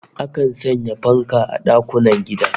Akan sanya fanka a dakunan gida